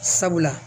Sabula